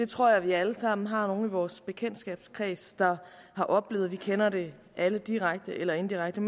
tror at vi alle sammen har nogle i vores bekendtskabskreds der har oplevet vi kender det alle direkte eller indirekte